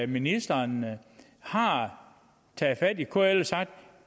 ministeren har taget fat i kl og sagt